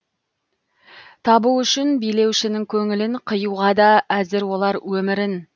табу үшін билеушінің көңілін қиюға да әзір олар өмірін